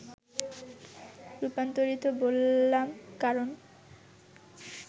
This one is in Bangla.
রূপান্তরিত বললাম কারণ